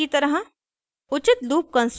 एक नियत कार्य की तरह